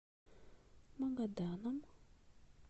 магаданом